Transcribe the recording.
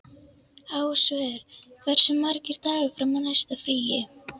Ásvör, hversu margir dagar fram að næsta fríi?